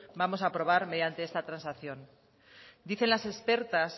vamos a aprobar esta transacción dicen las expertas